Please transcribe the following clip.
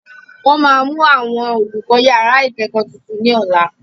Wọ́n máa mú àwọn olùkọ́ yàrá ìkẹ́kọ̀ọ́ tuntun ní ọ̀la